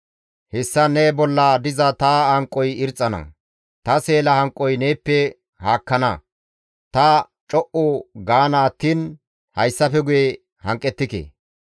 Hessan ne bolla diza ta hanqoy irxxana; ta seela hanqoy neeppe haakkana; ta co7u gaana attiin hayssafe guye hanqettike.